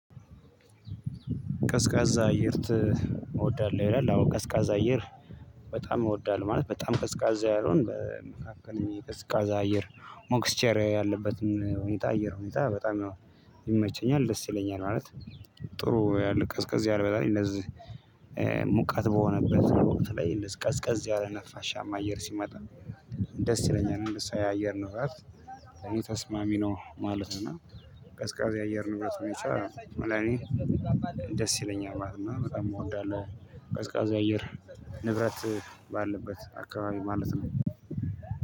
ቀዝቃዛ አየር ት ወዳለህ ይላል አዎ ቀዝቃዛ አየር። በጣም እወዳለሁ ማለት በጣም ቀዝቃዛ ያልሆነ በ መካከለኛ የቀዝቃዛ አየር ሞክስቸር ያለበትን ሁኔታ አየር ሁኔታ በጣም ይመቸኛል ደስ ይለኛል ማለት። ጥሩ ያለ ቀዝ ቀዝ ያለ በላይ እንደዚህ። ሙቀት በሆነበት ወቅት ላይ እንደዚህ ቀዝቀዝ ያለ ነፋሻማ አየር ሲመጣ ደስ ይለኛል እንድሳ የአየር ንብረት ተስማሚ ነው ማለት ነው። ቀዝቃዛ የአየር ንብረት ሁኔታ ለኔ ደስ ይለኛል ማለትና በጣም እወዳለሁ ቀዝቃዜ አየር ንብረት ባለበት አካባቢ ማለትም።